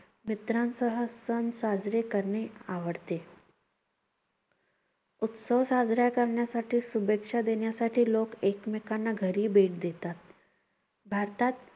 मित्रांसह सण साजरे करणे आवडते. उत्सव साजरा करण्यासाठी, शुभेच्छा देण्यासाठी लोक एकमेकांना घरी भेट देतात. भारतात